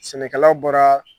Sɛnɛkala bɔra